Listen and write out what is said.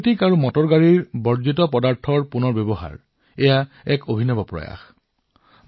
electronic আৰু automobile আৱৰ্জনাৰ ৰিচাইক্লিংৰ এক অভিনৱ ব্যৱহাৰ